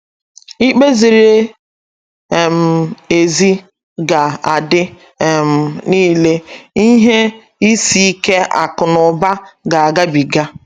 Ikpe ziri um ezi ga - adị um nile, ihe isi ike akụ̀ na ụba ga - agabiga.